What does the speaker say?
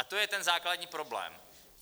A to je ten základní problém.